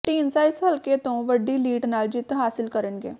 ਢੀਂਡਸਾ ਇਸ ਹਲਕੇ ਤੋਂ ਵੱਡੀ ਲੀਡ ਨਾਲ ਜਿੱਤ ਹਾਸਿਲ ਕਰਨਗੇ